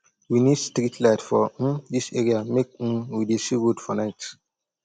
we need street light for um dis area make um we dey see road for night